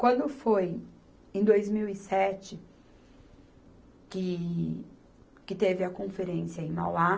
Quando foi em dois mil e sete, que, que teve a conferência em Mauá?